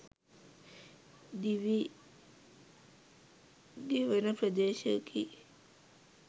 දිවි ගෙවන ප්‍රදේශයකි.